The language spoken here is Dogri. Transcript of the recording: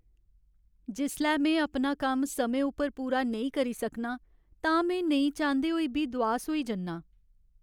जिसलै में अपना कम्म समें उप्पर पूरा नेईं करी सकनां तां में नेईं चांह्दे होई बी दुआस होई जन्नां।